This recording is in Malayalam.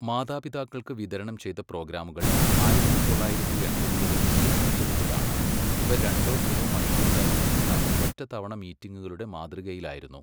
മാതാപിതാക്കൾക്ക് വിതരണം ചെയ്ത പ്രോഗ്രാമുകൾ ആയിരത്തി തൊള്ളായിരത്തി എൺപതുകളിൽ വികസിപ്പിച്ചെടുത്തതാണ്, ഇവ രണ്ടോ മൂന്നോ മണിക്കൂർ ദൈർഘ്യമുള്ള ഒറ്റത്തവണ മീറ്റിംഗുകളുടെ മാതൃകയിലായിരുന്നു.